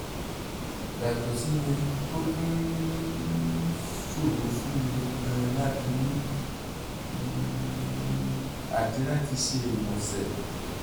yàtọ̀ síyẹn ó tún ń um ṣòro fún mi gan-an láti mí um àti láti ṣe ìgbọ̀nsẹ̀